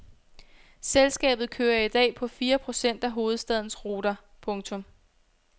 Selskabet kører i dag på fire procent af hovedstadens ruter. punktum